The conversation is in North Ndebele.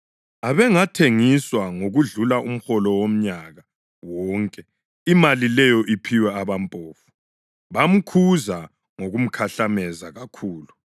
Abengathengiswa ngokudlula umholo womnyaka wonke imali leyo iphiwe abampofu.” Bamkhuza ngokumkhahlameza kakhulu.